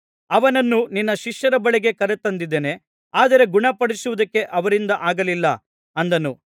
ಅವನನ್ನು ನಿನ್ನ ಶಿಷ್ಯರ ಬಳಿಗೆ ಕರತಂದಿದ್ದೆನು ಆದರೆ ಗುಣಪಡಿಸುವುದಕ್ಕೆ ಅವರಿಂದ ಆಗಲಿಲ್ಲ ಅಂದನು